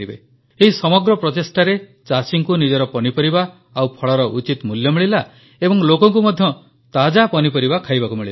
ଏହି ସମଗ୍ର ପ୍ରଚେଷ୍ଟାରେ ଚାଷୀଙ୍କୁ ନିଜର ପନିପରିବା ଓ ଫଳର ଉଚିତ ମୂଲ୍ୟ ମିଳିଲା ଏବଂ ଲୋକଙ୍କୁ ମଧ୍ୟ ତାଜା ପନିପରିବା ଖାଇବାକୁ ମିଳିଲା